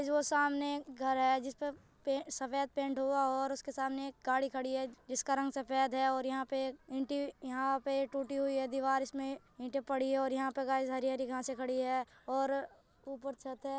यह सामने एक घर है जिसपे सफेद पैंट हुआ और उसके सामने एक गाड़ी खड़ी है जिसका रंग सफेद है और यहाँ पे ईटे यहा पे टूटी हुई है दीवार इसमे ईटे पड़ी है ओर यह पे गाइस हरी हरी घासे पड़ी है और ऊपर छत है।